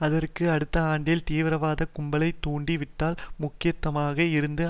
அதற்கு அடுத்த ஆண்டில் தீவிரவாத கும்பலைத் தூண்டி விட்டதில் முக்கியமானதாக இருந்தது